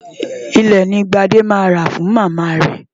Ilẹ̀ ni Gbádé máa rà fún Màmá rẹ̀.